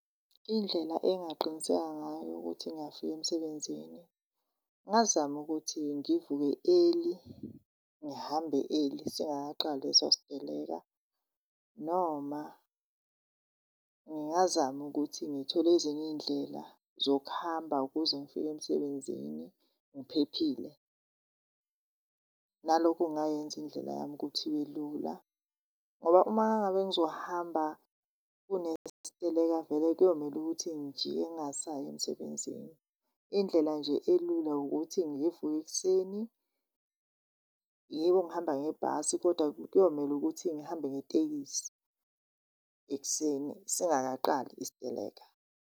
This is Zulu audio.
Indlela engaqiniseka ngayo ukuthi ngiyafika emsebenzini ngingazama ukuthi ngivuke early, ngihambe early singakaqali leso siteleka. Noma ngingazama ukuthi ngithole ezinye iy'ndlela zokuhamba ukuze ngifike emsebenzini ngiphephile. Nalokhu kungayenza indlela yami ukuthi ibe lula ngoba uma ngabe ngizohamba kunesiteleka vele kuyomele ukuthi ngijike ngingasayi emsebenzini. Indlela nje elula ukuthi ngivuke ekuseni, yebo ngihamba ngebhasi kodwa kuyomele ukuthi ngihambe ngetekisi ekuseni singakaqali isiteleka.